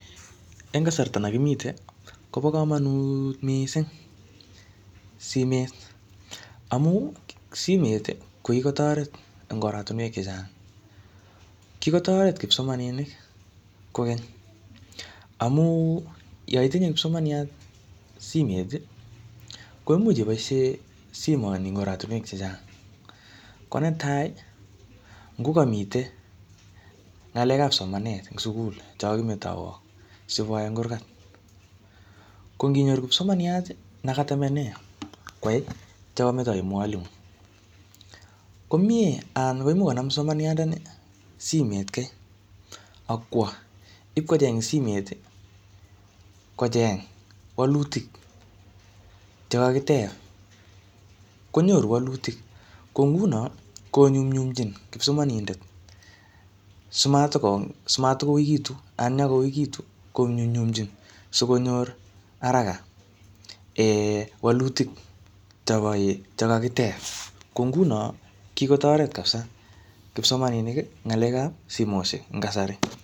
Eng kasarta ne kimite, kobo komonut missing simet. Amu, simet, ko kikotoret eng oratunwek chechang. Kikotoret kipsomaninik kokeny, amuu yoitinye kipsomaniat simet, ko imuch iboisie simoni eng oratunwek chechang. Ko netai, ngo kamaite ngalekab somanet ing sugul che kakakimetaiwok siboai eng kurkat. Ko nginyoru kipsoaniat ne ketamene kwae che kametochi mwalimu, ko miee anan ko imuch kipsomandianat ni simet kai, akwoo ipkocheng ing simet, kocheng walutik che kakiteb, konyoru walutik. Ko nguno konyumnyumchin kipsomanindet, si matikouikitu, anan yekagouikitu konyumnyumchin sikonyor haraka um walutik che kobo um kakiteb. Ko nguno, kikotoret kapsaa kipsomaninik ngalekab simoshek eng kasari.